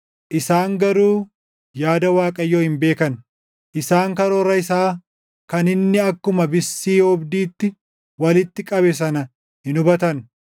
Isaan garuu yaada Waaqayyoo hin beekan; isaan karoora isaa kan inni akkuma bissii oobdiitti walitti qabe sana hin hubatan.